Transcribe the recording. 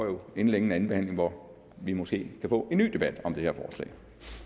jo inden længe en anden behandling hvor vi måske kan få en ny debat om det her forslag